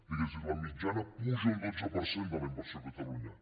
diguem ne la mitjana puja un dotze per cent de la inversió a catalunya